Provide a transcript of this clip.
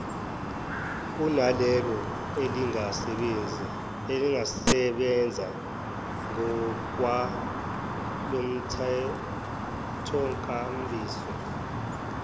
kunalelo elingasebenza ngokwalomthethonkambiso